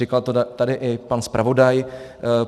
Říkal to tady i pan zpravodaj.